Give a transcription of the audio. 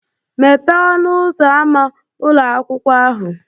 Mepee ọnụ ụzọ ámá ụlọ akwụkwọ ahụ